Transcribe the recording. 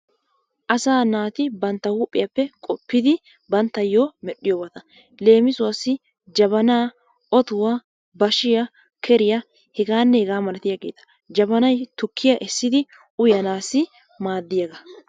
Asaa naati bantta huuphphiyappe qoppidi banttayoo medhdhiyobata. Leemisuwassi jabanaa, otuwaa, bashiya, keriya hegaanne hegaa malatiyaageeta jabanay tukkiya essidi uyanaasi maaddiyaagaa.